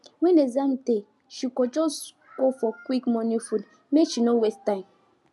when exam dey she go just go for quick morning food make she no waste time